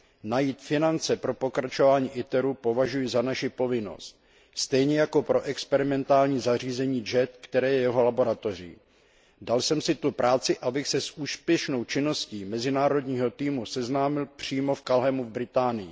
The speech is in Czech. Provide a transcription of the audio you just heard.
Najít finance pro pokračování projektu ITER považuji za naši povinnost stejně jako pro experimentální zařízení JET, které je jeho laboratoří. Dal jsem si tu práci, abych se s úspěšnou činností mezinárodního týmu seznámil přímo v Culhemu, v Británii.